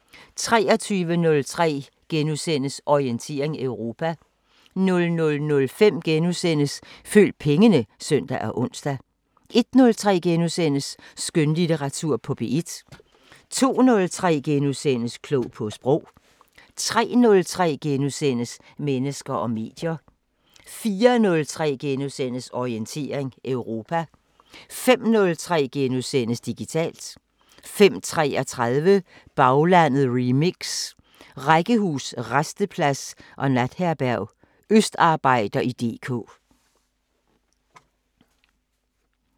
23:03: Orientering Europa * 00:05: Følg pengene *(søn og ons) 01:03: Skønlitteratur på P1 * 02:03: Klog på Sprog * 03:03: Mennesker og medier * 04:03: Orientering Europa * 05:03: Digitalt * 05:33: Baglandet remix: Rækkehus, rasteplads og natherberg – østarbejder i DK